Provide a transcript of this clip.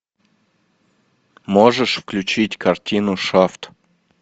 можешь включить картину шафт